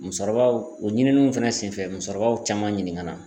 Musokɔrɔbaw o ɲininiw fɛnɛ senfɛ musokɔrɔbaw caman ɲininga la